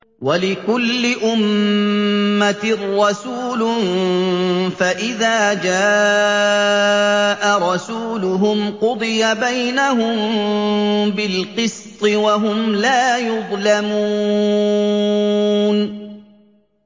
وَلِكُلِّ أُمَّةٍ رَّسُولٌ ۖ فَإِذَا جَاءَ رَسُولُهُمْ قُضِيَ بَيْنَهُم بِالْقِسْطِ وَهُمْ لَا يُظْلَمُونَ